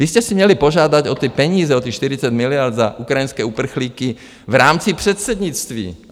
Vy jste si měli požádat o ty peníze, o těch 40 miliard za ukrajinské uprchlíky v rámci předsednictví.